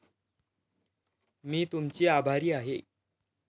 मी तुमची आभारी आहे.